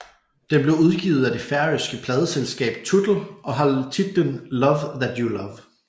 Den blev udgivet af det færøske pladeselskab Tutl og har titlen Love That You Love